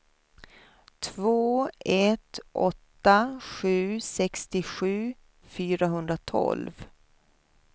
två ett åtta sju sextiosju fyrahundratolv